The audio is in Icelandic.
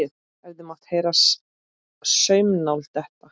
Hefði mátt heyra saumnál detta.